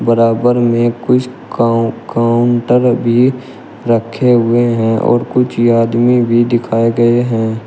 बराबर में कुछ काउ काउंटर भी रखे हुए हैं और कुछ आदमी भी दिखाए गए हैं।